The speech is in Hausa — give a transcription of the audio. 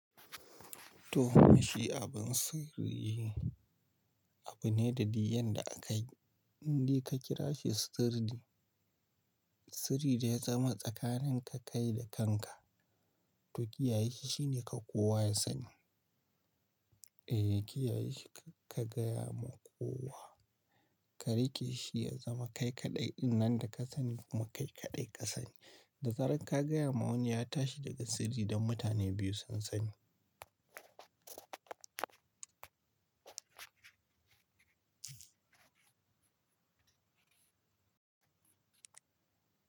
To, ma shi abun sirri, abu ne da di yanda akayi, indai ka kira shi sirri, sirri da ya zama tsakanin ka kai da kanka, to kiyaye shi shine ka kowa ya sani. Eh, kiyaye shi kakka gaya ma kowa, ka riƙe shi ya zama kai kaɗai ɗinnan da ka sani kuma kai kaɗai ka sani. Da zarar ka gaya ma wani ya tashi daga sirri, don mutane biyu sun sani.